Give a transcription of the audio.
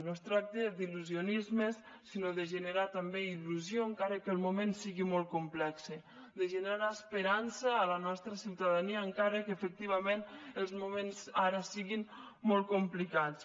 no es tracta d’il·lusionismes sinó de generar també il·lusió encara que el moment sigui molt complex de generar esperança a la nostra ciutadania encara que efectivament els moments ara siguin molt complicats